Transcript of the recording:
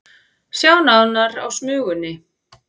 Sjá nánar á Smugunni